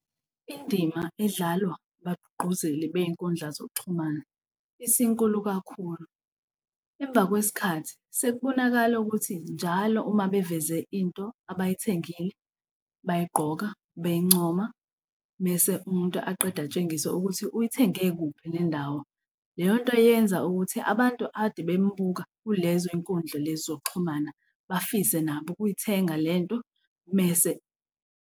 Indima edlalwa ngabagqugquzeli bey'nkundla zokuxhumana isinkulu kakhulu. Emva kwesikhathi sekubonakala ukuthi njalo uma beveze into abayithengile bayigqoka beyincoma mese umuntu aqede atshengisa ukuthi uyithenge kuphi nendawo. Leyonto yenza ukuthi abantu ade bembuka kulezoy'nkundla lezi zokuxhumana bafise nabo ukuyithenga lento mese.